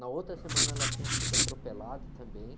Na outra semana, ela tinha sido atropelada também.